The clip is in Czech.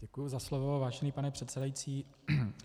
Děkuji za slovo, vážený pane předsedající.